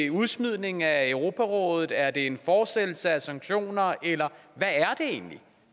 udsmidning af europarådet er det en fortsættelse af sanktioner eller hvad er det egentlig